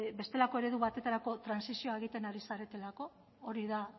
bestelako eredu batetarako trantsizioa egiten ari zaretelako hori da